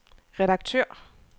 redaktør